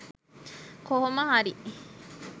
කොහොම හරි.